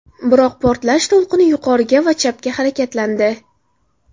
Biroq portlash to‘lqini yuqoriga va chapga harakatlandi.